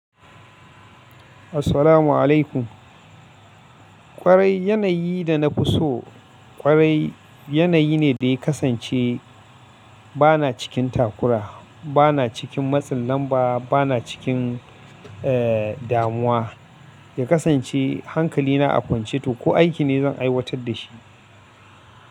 Assalamu alaikum. Kwarai yanayi da na fi so kwarai yanayi ne da ya kasance bana cikin takura, bana cikin matsin lamba, bana cikin, eh, damuwa. Ya kasance hankali na a kwance to ko aiki ne zan aiwatar da shi.